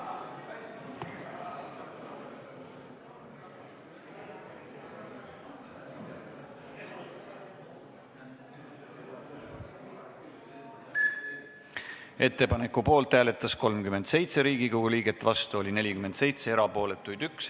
Hääletustulemused Ettepaneku poolt hääletas 37 Riigikogu liiget, vastu oli 47, erapooletuid 1.